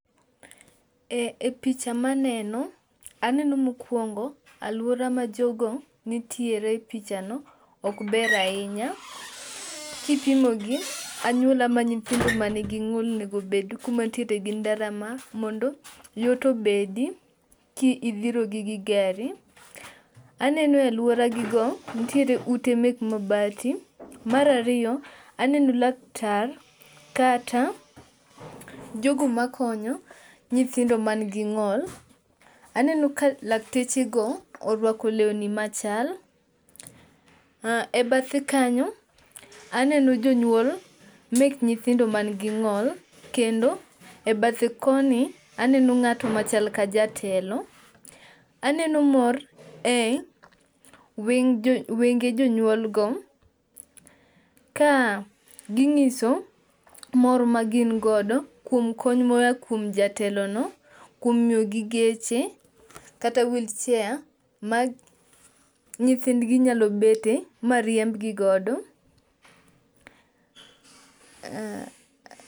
E picha maneno, aneno mokwongo alwora ma jogo nitiere e pichano ok ber ahinya kipimo gi anyuola ma nyithindo manyithindo manigi ng'ol onego obed kuma nitiere gi ndara mondo yot obedi ka idhirogi gi gari. Aneno e alworagigo nitiere ute mek mabati. Mar ariyo, aneno laktar kata jogo makonyo nyithindo manigi ng'ol. Aneno ka laktechego orwako lewni machal,e bathe kanyo, aneno jonyuol mek nyithindo manigi ng'o, kendo e bathe koni aneno ng'at machal ka jatelo. Aneno mor e wenge jonyuolgo, ka ging'iso mor ma gin godo kuom kony moya kuom jatelono kuom miyogi geche kata wheelchair ma nyithindgi nyalo bede ma riembgi godo.